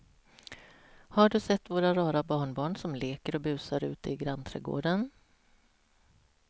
Har du sett våra rara barnbarn som leker och busar ute i grannträdgården!